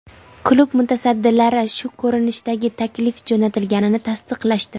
Klub mutasaddilari shu ko‘rinishdagi taklif jo‘natilganini tasdiqlashdi.